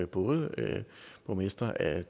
både borgmestre af